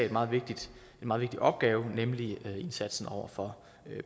en meget vigtig opgave nemlig indsatsen over for